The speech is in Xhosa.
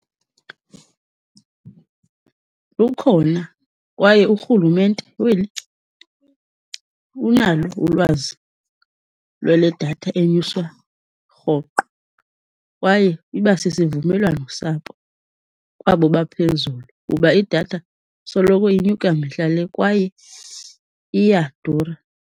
Lukhona, kwaye urhulumente weli unalo ulwazi lwale datha enyuswa rhoqo. Kwaye iba sisivumelwano sabo, kwabo baphezulu, kuba idatha soloko inyuka mihla le kwaye iyadura.